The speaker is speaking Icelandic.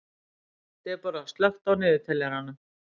Debora, slökktu á niðurteljaranum.